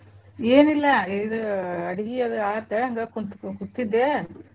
ಏನಿಲ್ಲಾ ಇದು ಅಡ್ಗಿ ಅದ್ ಆತ್ ಹಂಗ ಕುತ್~ ಕುಂತಿದ್ದೇ.